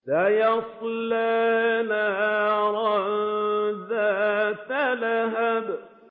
سَيَصْلَىٰ نَارًا ذَاتَ لَهَبٍ